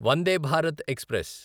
Vande Bharat express